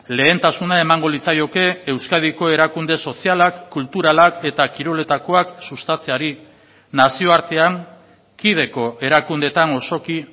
lehentasuna emango litzaioke euskadiko erakunde sozialak kulturalak eta kiroletakoak sustatzeari nazioartean kideko erakundeetan osoki